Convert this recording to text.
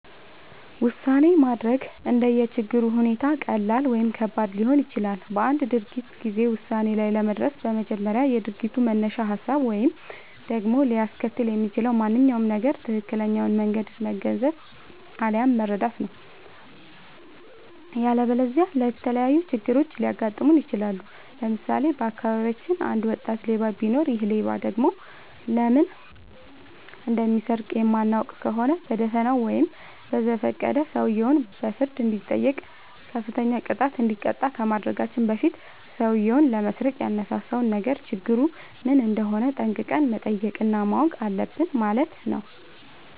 ውሳኔ ማድረግ እንደየ ችግሩ ሁኔታ ቀላል ወይም ከባድ ሊሆን ይችላል። በአንድ ድርጊት ጊዜ ውሳኔ ላይ ለመድረስ በመጀመሪያ የድርጊቱን መነሻ ሀሳብ ወይም ደግሞ ሊያስከትል የሚችለውን ማንኛውም ነገር ትክክለኛውን መንገድ መገንዘብ፣ አለያም መረዳት ነው።. ያለበለዚያ የተለያዩ ችግሮች ሊያጋጥሙን ይችላሉ። ለምሳሌ:- በአካባቢያችን አንድ ወጣት ሌባ ቢኖር ይሔ ሌባ ደግሞ ለምን እንደሚሰርቅ የማናውቅ ከሆነ በደፋናው ወይም በዘፈቀደ ሰውየው በፍርድ እንዲጠይቅ፤ ከፍተኛ ቅጣት እንዲቀጣ ከማድረጋችን በፊት ሠውዬው ለመስረቅ ያነሳሳውን ነገር ችግሩ ምን እንደሆነ ጠንቅቀን መጠየቅ እና ማወቅ አለብን ማለት ነው።